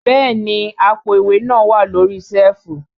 Bẹ́ẹ̀ni àpò ìwé náà wà lórí síẹ̀fù